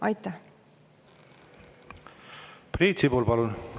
Priit Sibul, palun!